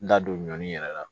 N da don ɲɔnin yɛrɛ la